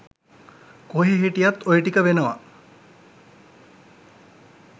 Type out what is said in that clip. කොහේ හිටියත් ඔය ටික වෙනවා.